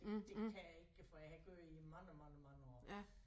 Det det kan jeg ikke for jeg har ikke gjort det i mange mange mange år